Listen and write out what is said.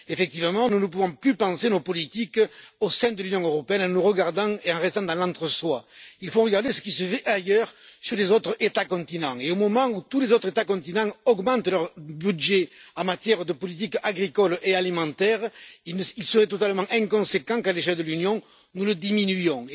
Effectivement, nous ne pouvons plus penser nos politiques au sein de l'Union européenne en nous regardant et en restant dans l'entre soi. Nous devons regarder ce qui se fait ailleurs, sur les autres États continents au moment où tous les autres États continents augmentent leur budget en matière de politique agricole et alimentaire, il serait totalement inconséquent qu'à l'échelle de l'Union nous le diminuions.